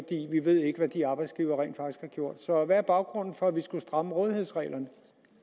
vi ved ikke hvad de arbejdsgivere rent faktisk har gjort så hvad er baggrunden for at vi skulle stramme rådighedsreglerne